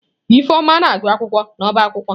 Ifeoma na-agu akwụkwọ n'ọbá akwukwo.